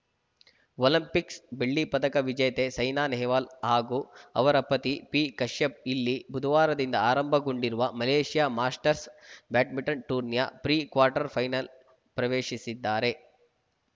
Olympics ಬೆಳ್ಳಿ ಪದಕ ವಿಜೇತೆ ಸೈನಾ ನೆಹ್ವಾಲ್‌ ಹಾಗೂ ಅವರ ಪತಿ ಪಿಕಶ್ಯಪ್‌ ಇಲ್ಲಿ ಬುಧವಾರದಿಂದ ಆರಂಭಗೊಂಡಿರುವ ಮಲೇಷ್ಯಾ ಮಾಸ್ಟರ್‍ಸ್ ಬ್ಯಾಡ್ಮಿಂಟನ್‌ ಟೂರ್ನಿಯ ಪ್ರಿ ಕ್ವಾರ್ಟರ್‌ ಫೈನಲ್‌ ಪ್ರವೇಶಿಸಿದ್ದಾರೆ